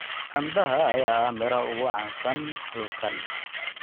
Canbaha ayaa ah midhaha ugu caansan halkan